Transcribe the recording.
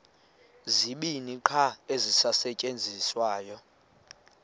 zibini qha ezisasetyenziswayo